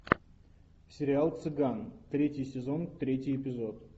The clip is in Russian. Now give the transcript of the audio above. сериал цыган третий сезон третий эпизод